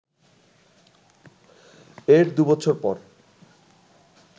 এর দু’বছর পর